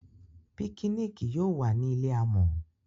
Pikiniki yóò wá ni ilé amò.